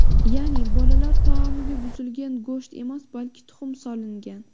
Ya’ni bolalar taomiga buzilgan go‘sht emas, balki tuxum solingan.